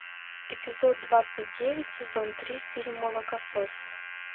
эпизод двадцать девять сезон три фильм молокососы